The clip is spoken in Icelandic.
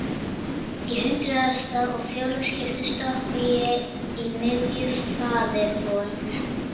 Og í hundraðasta og fjórða skipti stoppa ég í miðju faðirvorinu.